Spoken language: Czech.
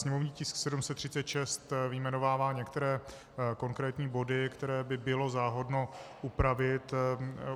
Sněmovní tisk 736 vyjmenovává některé konkrétní body, které by bylo záhodno upravit.